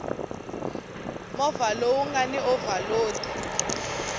movha lowu nga ni ovhalodi